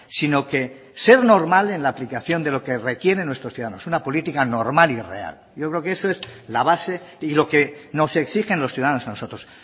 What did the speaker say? sino que ser normal en la aplicación de lo que requieren nuestros ciudadanos una política normal y real yo creo que eso es la base y lo que nos exigen los ciudadanos a nosotros